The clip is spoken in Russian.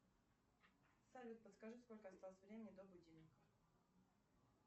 салют подскажи сколько осталось времени до будильника